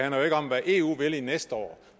jo ikke om hvad eu vil næste år